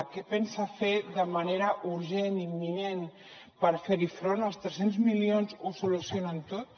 què pensa fer de manera urgent imminent per fer hi front els tres cents milions ho solucionen tot